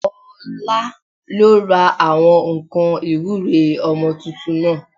Ọlá ló ra àwọn nǹkan ìwúre ọmọ tuntun náà